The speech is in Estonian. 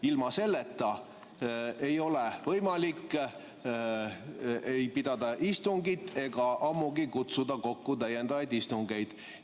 Ilma selleta ei ole võimalik pidada istungit ega ammugi kutsuda kokku täiendavaid istungeid.